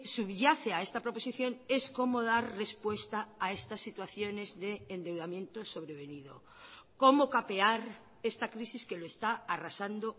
subyace a esta proposición es cómo dar respuesta a estas situaciones de endeudamiento sobrevenido cómo capear esta crisis que lo está arrasando